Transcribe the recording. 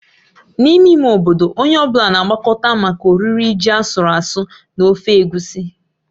N'ime ime obodo, onye ọ bụla na-agbakọta maka oriri ji asụru asụ́ na ofe egusi.